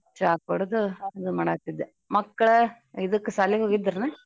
ಚಾ ಕುಡದು ಇದು ಮಾಡಾತ್ತಿದ್ದೆ ಮಕ್ಳ ಇದಕ್ ಸಾಲಿಗ ಹೋಗಿದ್ರನ?